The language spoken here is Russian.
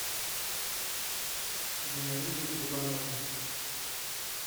зинаиде грибановой